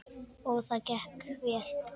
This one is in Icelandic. Og það gekk vel.